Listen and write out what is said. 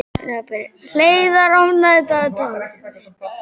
Hleiðar, opnaðu dagatalið mitt.